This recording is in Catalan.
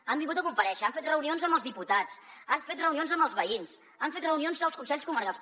han vingut a comparèixer han fet reunions amb els diputats han fet reunions amb els veïns han fet reunions als consells comarcals